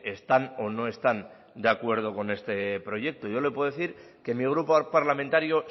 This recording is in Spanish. están o no están de acuerdo con este proyecto yo le puedo decir que mi grupo parlamentario